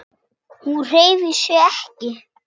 Hún hreyfir sig ekki.